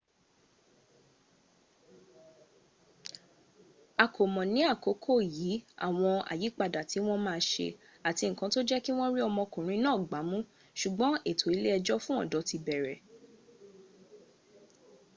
a kò mọ̀ ní àkókò yí àwọn àyípadà tí wọ́n ma ṣe àti nkan tó jẹ́kí wọ́n rí ọmọ okùnrin náà gbámú ṣùgbọ́n ètò ilé ẹjọ́ fún ọ̀dọ́ ti bẹ̀rẹ̀